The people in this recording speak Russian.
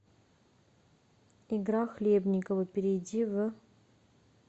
игра хлебниково перейди в